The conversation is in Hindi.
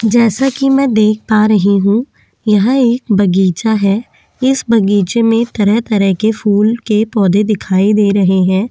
जैसा कि मैं देख पा रही हूँ यह एक बगीचा है इस बगीचे में तरह-तरह के फूल के पौधे दिखाई दे रहे हैं।